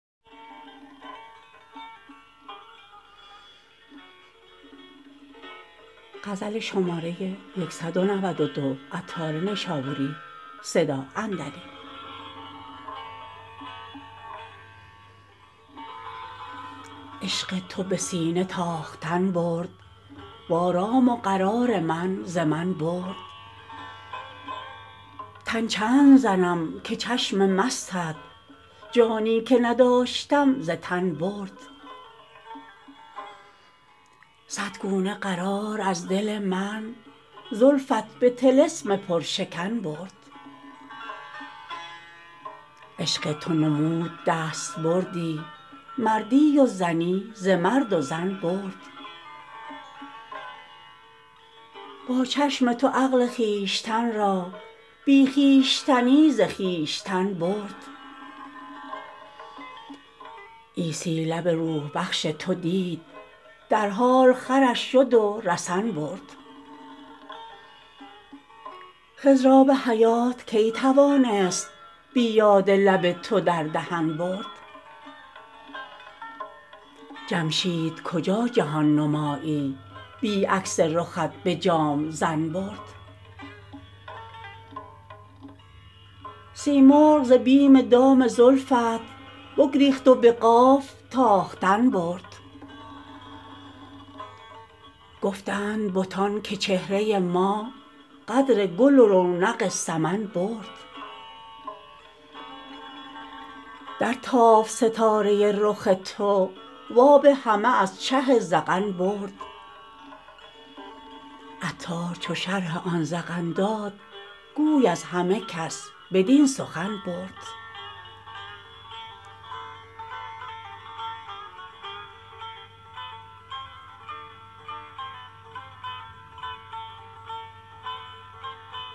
عشق تو به سینه تاختن برد وآرام و قرار من ز من برد تن چند زنم که چشم مستت جانی که نداشتم ز تن برد صد گونه قرار از دل من زلفت به طلسم پرشکن برد عشق تو نمود دستبردی مردی و زنی ز مرد و زن برد با چشم تو عقل خویشتن را بی خویشتنی ز خویشتن برد عیسی لب روح بخش تو دید در حال خرش شد و رسن برد خضر آب حیات کی توانست بی یاد لب تو در دهن برد جمشید کجا جهان نمایی بی عکس رخت به جام ظن برد سیمرغ ز بیم دام زلفت بگریخت و به قاف تاختن برد گفتند بتان که چهره ما قدر گل و رونق سمن برد درتافت ستاره رخ تو وآب همه از چه ذقن برد عطار چو شرح آن ذقن داد گوی از همه کس بدین سخن برد